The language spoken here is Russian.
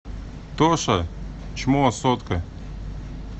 тоша чмо сотка